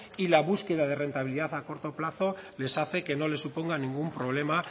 y la búsqueda de rentabilidad a corto plazo les hace que no le suponga ningún problema